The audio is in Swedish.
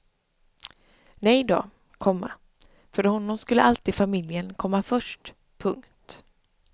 Nej då, komma för honom skulle alltid familjen komma först. punkt